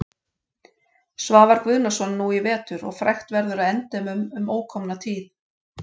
Svavar Guðnason nú í vetur og frægt verður að endemum um ókomna tíð.